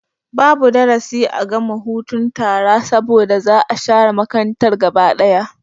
Babu darasi a gama hutun tara saboda za'a share makarantar gaba ɗaya